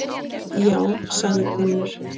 Já, sagði Finnur.